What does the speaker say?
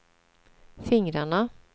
fingrarna